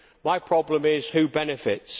My problem is who benefits?